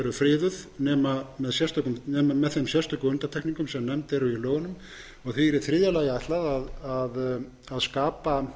eru friðuð nema með þeim sérstök undantekningum sem nefnd eru í lögunum og því er í þriðja lagi ætlað að skapa